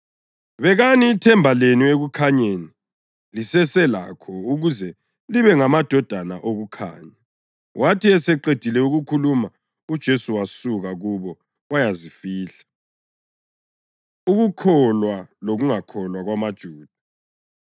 Bekani ithemba lenu ekukhanyeni liseselakho ukuze libe ngamadodana okukhanya.” Wathi eseqedile ukukhuluma uJesu wasuka kubo wayazifihla. Ukukholwa Lokungakholwa KwamaJuda